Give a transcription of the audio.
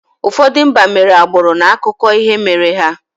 Ụfọdụ mba mere agbụrụ n’akụkọ ihe mere ha.